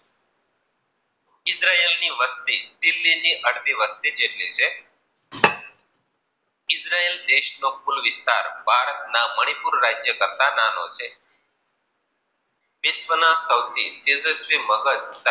ઈઝરાયલની વસ્તી દિલ્હીની અડધી વસ્તી જેટલી છે. ઈઝરાયલ દેશનો કુલ વિસ્તાર ભારતના મણિપુર રાજ્ય કરતા નાનો છે. વિશ્વના સૌથી તેજસ્વી મગજ